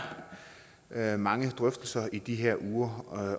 er mange drøftelser i de her uger